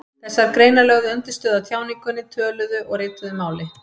Þessar greinar lögðu undirstöðu að tjáningunni, töluðu og ritaðu máli.